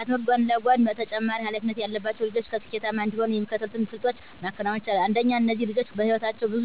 ከትምህርት ጎን ለጎን ተጨማሪ ሀላፊነት ያለባቸው ልጆች ስኬታማ እንዲሆኑ የሚከተሉትን ስልቶች ማከናወን ይቻላል። አንደኛ እነዚህ ልጆች በህይወታቸው ብዙ